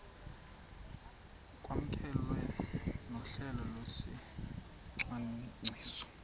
kwamkelwe nohlelo lwesicwangciso